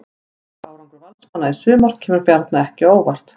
Góður árangur Valsmanna í sumar kemur Bjarna ekki á óvart.